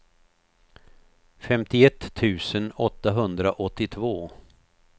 femtioett tusen åttahundraåttiotvå